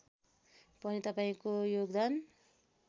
पनि तपाईँको योगदान